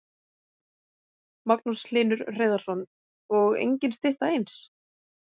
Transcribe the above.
Magnús Hlynur Hreiðarsson: Og engin stytta eins?